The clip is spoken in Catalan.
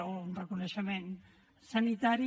o un reconeixement sanitari